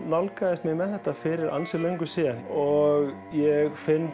nálgaðist mig með þetta fyrir ansi löngu síðan og ég finn